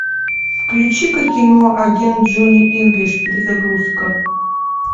включи ка кино агент джонни инглиш перезагрузка